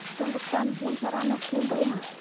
сондықтан бұл шараны қолдаймын